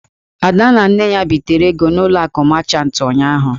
Ada na Nne ya bitere ego n'ụlọ akụ machant ụnyụahụ.